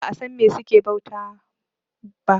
kuma ba a San me suke bauta ba